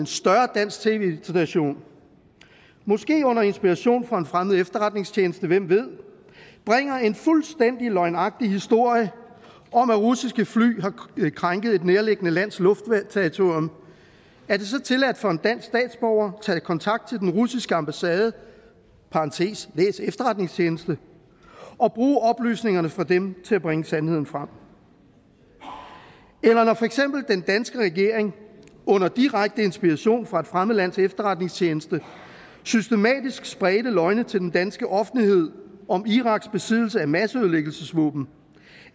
større dansk tv station måske under inspiration fra en fremmed efterretningstjeneste hvem ved bringer en fuldstændig løgnagtig historie om at russiske fly har krænket et nærliggende lands luftterritorium er det så tilladt for en dansk statsborger at tage kontakt til den russiske ambassade læs efterretningstjeneste og bruge oplysningerne fra dem til at bringe sandheden frem eller når for eksempel den danske regering under direkte inspiration fra et fremmed lands efterretningstjeneste systematisk spredte løgne til den danske offentlighed om iraks besiddelse af masseødelæggelsesvåben